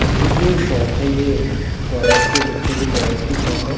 ये जो शॉप है ये टॉयज के बच्चों के टॉयज की शॉप है।